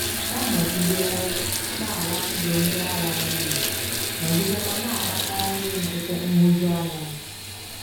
Ọ nọgidewo na - ala ndụ ndị agha n’iyi, nọgidekwa na - akpatara ndị nkịtị nhụjuanya.